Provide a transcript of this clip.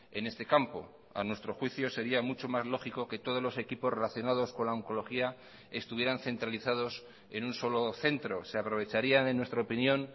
en este campo a nuestro juicio sería mucho más lógico que todos los equipos relacionados con la oncología estuvieran centralizados en un solo centro se aprovecharían en nuestra opinión